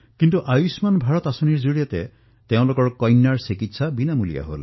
কিন্তু আয়ুষ্মান ভাৰত যোজনাৰ দ্বাৰা এতিয়া তেওঁলোকৰ সন্তানৰ চিকিৎসা বিনামূলীয়া হৈ পৰিল